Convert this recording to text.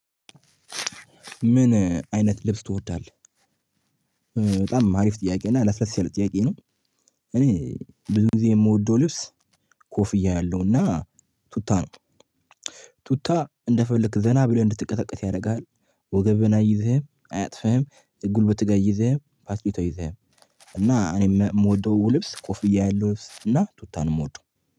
ምን አይነት ልብስ ትወዳለህ በጣም አሪፍ ጥያቄ እና ለስለስ ያለ ጥያቄ ነው። እኔ ብዙ ጊዜ የምወደው ልብስ ኮፍያ ያለውና ቱታ ነው። ቱታ እንደፈለክ ዘና ብለህ እንድትንቀሳቀስ ያደርግሃል ወገብህን አይዝህም አያጥፍህም ጉልበትህ ጋር አይዝህም ፓስቤት አይዝህም። እና እኔም የምወደው ልብስ ኮፍያ ያለው እና ቱታን የምወደው